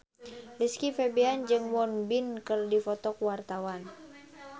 Rizky Febian jeung Won Bin keur dipoto ku wartawan